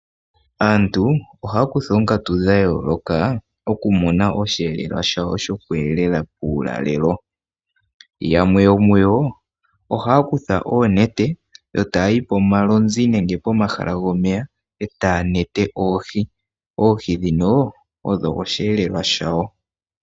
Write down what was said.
Aantu ohaya kutha oonkatu dha yooloka okumuna oshihelelwa shawo shoke elela uulalelo. Yamwe yomuyo ohaya kutha oonete, yo taya yi pomalomzi nege pomahala gomeya e taya nete oohi. Oohi dhino odho oshihelelwa shawo.